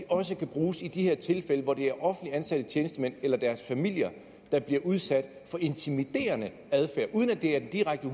også kan bruges i de her tilfælde hvor det er offentligt ansatte tjenestemænd eller deres familier der bliver udsat for intimiderende adfærd uden at det er en direkte